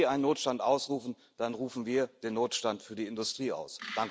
Wenn Sie einen Notstand ausrufen, dann rufen wir den Notstand für die Industrie aus.